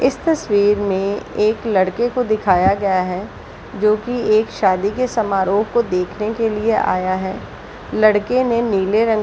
इस तस्वीर में एक लड़के को दिखाया गया है जोकि एक शादी के समारोह को दखने के लिए आया है लड़के ने नीले रंग --